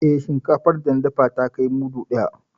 Eh, shinkafan da na dafa ya kai mudu ɗaya.